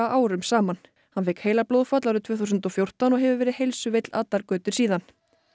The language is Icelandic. árum saman hann fékk heilablóðfall árið tvö þúsund og fjórtán og hefur verið heilsuveill allar götur síðan